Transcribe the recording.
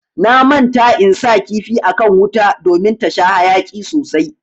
Na manta in sa kifi akan wuta ɗomin ta sha hayaki sosai.